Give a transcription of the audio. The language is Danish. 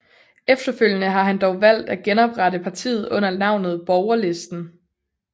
Efterfølgende har han dog valgt at genoprette partiet under navnet Borgerlisten